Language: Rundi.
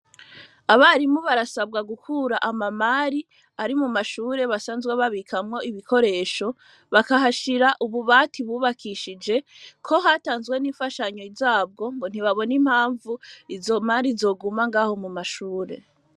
Abarimu, barasabwa gukura ama mari ari mu mashure, basanzwe babikamwo ibikoresho, bakahashira ububati bubakishije ko hatanzwe n'imfashanyo zabwo, ngo ntibabona impamvu izo mari zoguma Ngaho mu mashure.